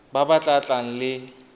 ba ba tla tlang le